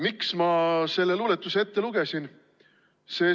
" Miks ma selle luuletuse ette lugesin?